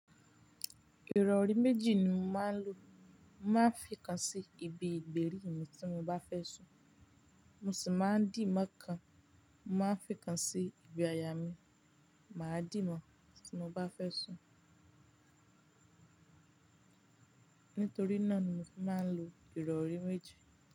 Ìrọ̀rí méjì ni mo máa ń lo. Mo máa ń fi kan sí ibi ìgbérí mi tí mo bá fẹ́ sùn. Mo sì máa ń dì mọ́ kan, mo máa ń fi kan sí ibi àyà mí, màá dì mọ́ tí mo bá fẹ́ sùn. Nítorí náà ni mo fi máa ń lo ìrọ̀rí méjì.